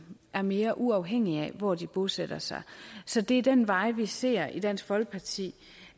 var mere uafhængige af hvor de bosatte sig så det er den vej vi ser i dansk folkeparti